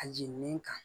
A jenen kan